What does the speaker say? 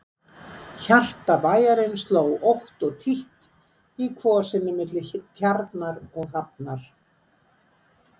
Hjarta bæjarins sló ótt og títt í kvosinni milli Tjarnar og hafnar.